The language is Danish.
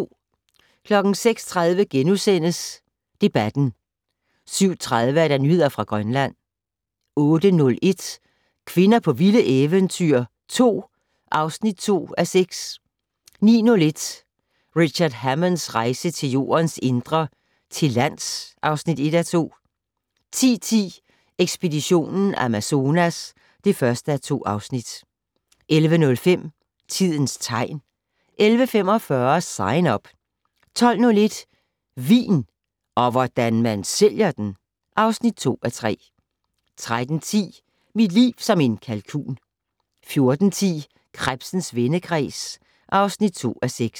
06:30: Debatten * 07:30: Nyheder fra Grønland 08:01: Kvinder på vilde eventyr 2 (2:6) 09:01: Richard Hammonds rejse til Jordens indre - til lands (1:2) 10:10: Ekspedition Amazonas (1:2) 11:05: Tidens tegn 11:45: Sign Up 12:01: Vin - og hvordan man sælger den! (2:3) 13:10: Mit liv som en kalkun 14:01: Krebsens vendekreds (2:6)